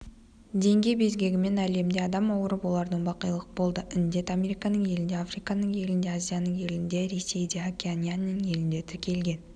денге безгегімен әлемде адам ауырып олардың бақилық болды індет американың елінде африканың елінде азияның елінде ресейде океанияның елінде тіркелген